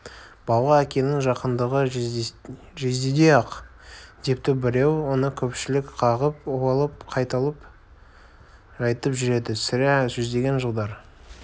балаға әкенің жақындығы жездедей-ақ депті біреу оны көпшілік қағып алып қайталап айтып жүреді сірә жүздеген жылдар